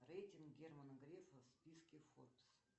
рейтинг германа грефа в списке форбс